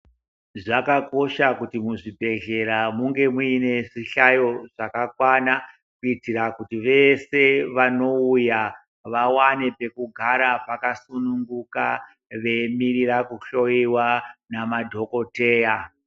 Zvakakosha kuti muzvibhedhlera munge muine zvihayo zvakakwana kutira kuti veshe vanouya vawane pekugara pakasunumguka veimirira kuhloyiwa ngemadhogodheya.